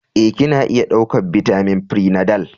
Ee, Kina iya ɗaukar bitamin prenatal.